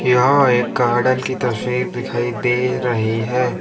यह एक गार्डन की तस्वीर दिखाई दे रही है।